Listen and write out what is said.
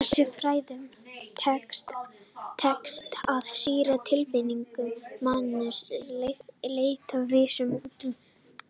Þessum fræðum tekst að skýra tilfinningalíf mannsins að verulegu leyti án vísunar út fyrir efnisheiminn.